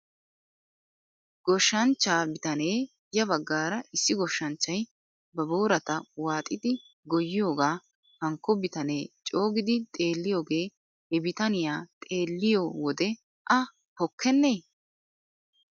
Goshshanchcha bitanee ya baggaara issi goshshanchchay ba boorata waaxidi goyyiyaagaa hankko bitanee coogidi xeelliyoogee he bitaniyaa xeelliyoo wode a pokkenee.